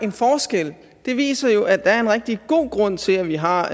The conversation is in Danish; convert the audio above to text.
en forskel det viser jo at der er en rigtig god grund til at vi har